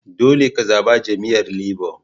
Dolle ka zaba jami'yyar Labour.